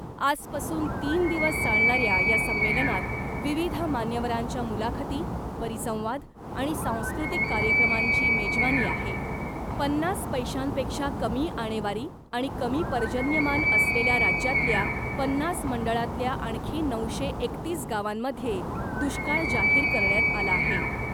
आजपासून तीन दिवस चालणाऱ्या या संमेलनात विविध मान्यवरांच्या मुलाखती , परिसंवाद , आणि सांस्कृतिक कार्यक्रमांची मेजवानी आहे , पन्नास पैशांपेक्षा कमी आणेवारी आणि कमी पर्जन्यमान असलेल्या राज्यातल्या पन्नास मंडळातल्या आणखी नऊशे एकतीस गावांमध्ये दुष्काळ जाहीर करण्यात आला आहे .